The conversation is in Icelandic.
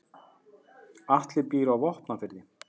Atli býr á Vopnafirði.